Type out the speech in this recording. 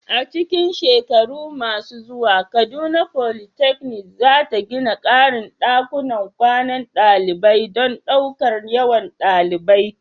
A cikin shekaru masu zuwa, Kaduna Polytechnic za ta gina ƙarin ɗakunan kwanan ɗalibai don ɗaukar yawan ɗalibai.